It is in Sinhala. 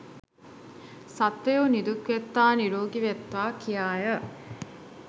සත්වයෝ නිදුක් වෙත්වා නීරෝගී වෙත්වා කියාය.